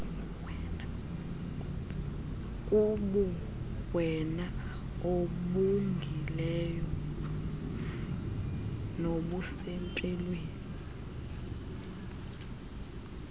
kubuwena obungileyo nobusempilweni